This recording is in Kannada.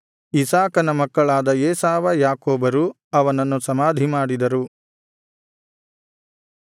ಇಸಾಕನ ಮಕ್ಕಳಾದ ಏಸಾವ ಯಾಕೋಬರು ಅವನನ್ನು ಸಮಾಧಿಮಾಡಿದರು